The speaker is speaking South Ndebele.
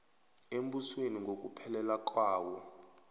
embusweni ngokuphelela kwawo